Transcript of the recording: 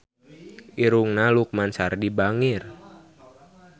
Irungna Lukman Sardi bangir